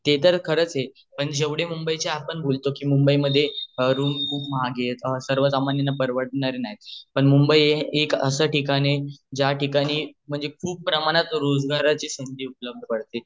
ते तर खरच आहे पण जेवढे मुंबई चे आपण बोलतो की मुंबई मध्ये रूम खूप महाग आहेत सर्वसामान्यांना परवडणार नाही पण मुंबई एक अस ठिकाण आहे ज्या ठिकाणी म्हणजे खूप प्रमाणात रोजगाराची संधी उपलब्ध आहे